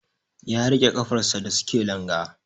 ya rike kafar sa da suke langa